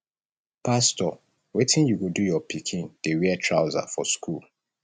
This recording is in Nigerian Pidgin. pastor wetin you go do your pikin dey wear trouser for school